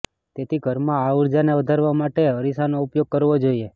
તેથી ઘરમાં આ ઊર્જાને વધારવા માટે અરીસાનો ઉપયોગ કરવો જોઈએ